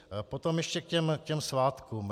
Potom ještě k těm svátkům.